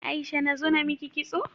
Aisha nazo namiki kitso?